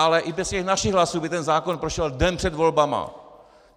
Ale i bez těch našich hlasů by ten zákon prošel den před volbami.